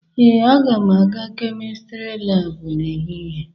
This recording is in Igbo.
Ee, aga m aga kemistri laabụ n'ehihie